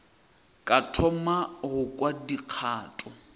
ka thoma go kwa dikgato